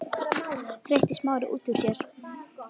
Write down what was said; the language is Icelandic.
hreytti Smári út úr sér.